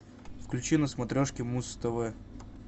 включи на смотрешке муз тв